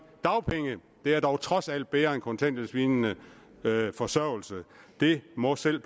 dagpenge det er dog trods alt bedre end kontanthjælpslignende forsørgelse det må selv